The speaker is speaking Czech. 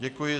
Děkuji.